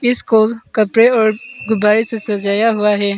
इसको कपड़े और गुब्बारे से सजाया हुआ है।